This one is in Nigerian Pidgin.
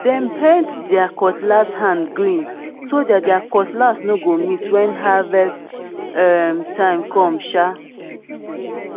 dem paint there cutlass hand green so that their cutlass no go miss when harvest um time come um